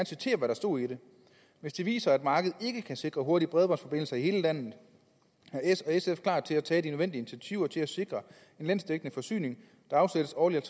citere hvad der stod i det hvis det viser sig at markedet ikke kan sikre hurtige bredbåndsforbindelser til hele landet er s og sf klar til at tage de nødvendige initiativer til at sikre en landsdækkende forsyning der afsættes årligt